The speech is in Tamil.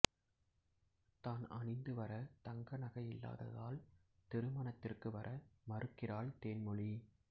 தான் அணிந்துவர தங்கநகை இல்லாததால் திருமணத்திற்கு வர மறுக்கிறாள் தேன்மொழி